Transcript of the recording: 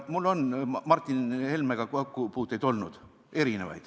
Mul on Martin Helmega erinevaid kokkupuuteid olnud.